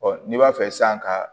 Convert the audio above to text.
n'i b'a fɛ sisan ka